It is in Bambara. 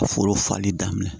Foro fali daminɛ